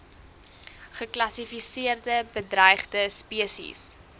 geklassifiseerde bedreigde spesies